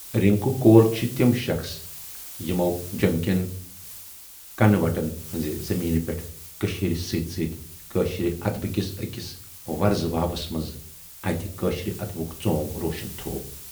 رِنکو کول چھِ تِم شخص یِمو جٮ۪مہِ کٮ۪ن کنہٕ وٹن ہٕنزِ زمیٖنہٕ پٮ۪ٹھ کٔشیٖرِ سۭتۍ سۭتۍ کٲشرِ ادبہٕ کِس ٲکِس ورزٕ واوس منز اتہِ کٲشرِ ادبُک ژونگ روشن تھوو۔